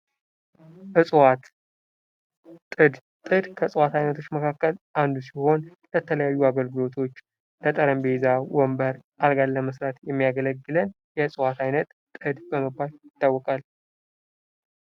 እዋት ጥድ፤ ጥድ ከእዋት አይነቶች መካከል አንዱ ሲሆን ለተለያዩ አገልግሎቶች ለጠረጴዛ፣ ወንበር። አልጋን ለመስራት የሚያገለግለን የእጽዋት አይነት ጥድ በመባል ይታወቃል።